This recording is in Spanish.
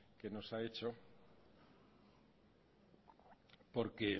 que nos ha hecho porque